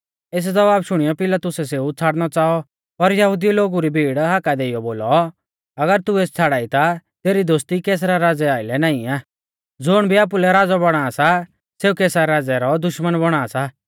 एस ज़वाब शुणीयौ पिलातुसै सेऊ छ़ाड़नौ च़ाऔ पर यहुदिऊ लोगु री भीड़ हाका देइयौ बोलौ अगर तू एस छ़ाड़ाई ता तेरी दोस्ती कैसरा राज़ै आइलै नाईं आ ज़ुण भी आपुलै राज़ौ बौणा सा सेऊ कैसर राज़ै रौ दुश्मन बौणा सा